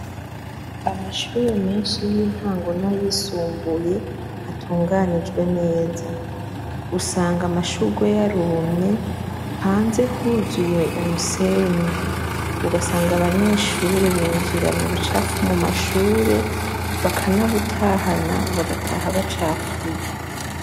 Amashure menshi y'intango na yisumbuye ntatunganijwe neza. Usanga amashurwe yarumye hanze huzuye umusenyi ugasanga abanyeshure binjiranye ubucafu mwishure bakanabutahana bagataha bacafuye.